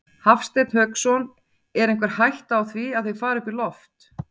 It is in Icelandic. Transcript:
Hafsteinn Hauksson: Er einhver hætta á því að þeir fari upp í loft?